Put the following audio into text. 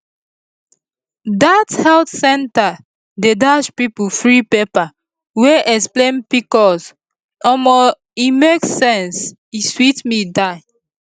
dat health center dey dash people free paper wey explain pcos omo e make sense e sweet me die